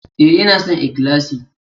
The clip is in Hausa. Ee, ina son ikhlasi.